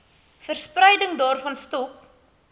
verspreiding daarvan stop